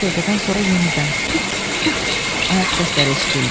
Bir dəqiqədən sonra yenidən tup-tup ayaq səsləri eşidildi.